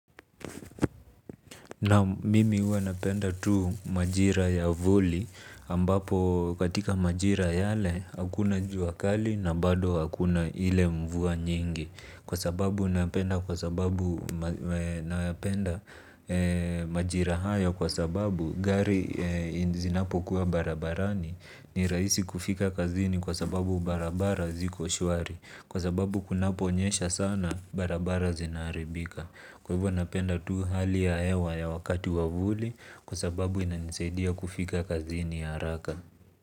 Naam mimi huwa napenda tu majira ya vuli ambapo katika majira yale hakuna jua kali na bado hakuna ile mvua nyingi. Kwa sababu napenda majira haya kwa sababu gari zinapokuwa barabarani ni rahisi kufika kazini kwa sababu barabara ziko shwari. Kwa sababu kunaponyesha sana barabara zinaharibika. Kwa hivyo napenda tu hali ya hewa ya wakati wa vuli kwa sababu inanisaidia kufika kazini haraka.